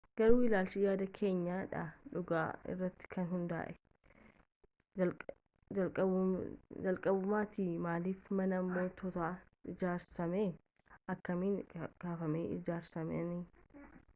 garuu ilaalchaa yaada keenya dha dhugaa irratti kan hundaa'e jalqabumaatiyu maaliif manni mootoots ijaarame akkamin kafamanii ijaaramanii